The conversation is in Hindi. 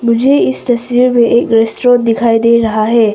मुझे इस तस्वीर में एक रेस्टोरेंट दिखाई दे रहा है।